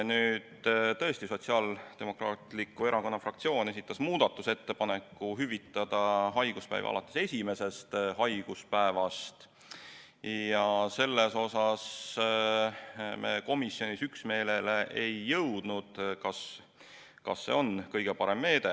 Nüüd, tõesti, Sotsiaaldemokraatliku Erakonna fraktsioon esitas muudatusettepaneku hüvitada haiguspäevi alates esimesest haiguspäevast ja selles osas me komisjonis üksmeelele ei jõudnud, kas see on kõige parem meede.